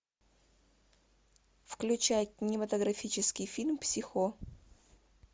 включай кинематографический фильм психо